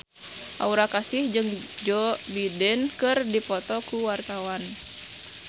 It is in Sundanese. Aura Kasih jeung Joe Biden keur dipoto ku wartawan